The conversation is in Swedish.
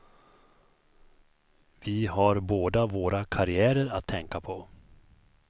Vi har båda våra karriärer att tänka på.